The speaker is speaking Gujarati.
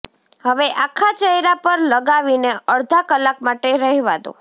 હવે આખા ચહેરા પર લગાવીને અડધા કલાક માટે રહેવા દો